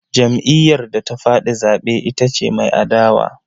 Jam'iyyar da ta faɗi zaɓe ita ce mai adawa.